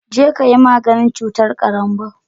Jeka yi maganin cutar karanbou